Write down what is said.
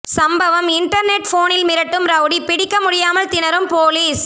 சம்பவம் இன்டர்நெட் போனில் மிரட்டும் ரவுடி பிடிக்க முடியாமல் திணறும் போலீஸ்